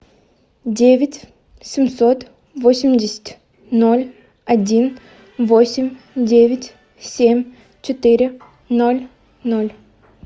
девять семьсот восемьдесят ноль один восемь девять семь четыре ноль ноль